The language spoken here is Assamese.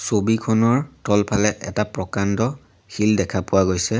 ছবিখনৰ তলফালে এটা প্ৰকাণ্ড শিল দেখা পোৱা গৈছে।